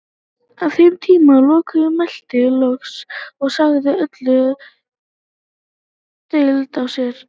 Að þeim tíma loknum mælti Loki loks og sagði öll deili á sér.